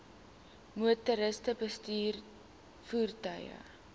motoriste bestuur voertuie